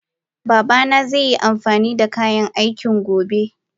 Babana zai amfanida kayan aiki gobe.